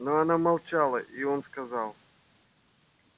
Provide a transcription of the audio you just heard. но она молчала и он сказал